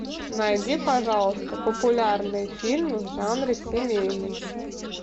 найди пожалуйста популярные фильмы в жанре семейный